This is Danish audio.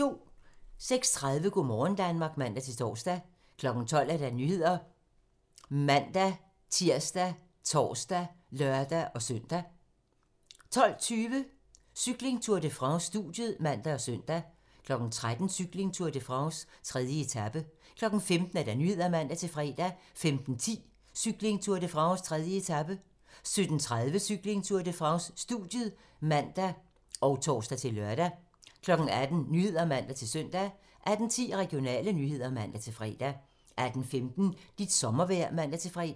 06:30: Go' morgen Danmark (man-tor) 12:00: Nyhederne ( man-tir, tor, lør-søn) 12:20: Cykling: Tour de France - studiet (man og søn) 13:00: Cykling: Tour de France - 3. etape 15:00: Nyhederne (man-fre) 15:10: Cykling: Tour de France - 3. etape 17:30: Cykling: Tour de France - studiet (man og tor-lør) 18:00: Nyhederne (man-søn) 18:10: Regionale nyheder (man-fre) 18:15: Dit sommervejr (man-fre)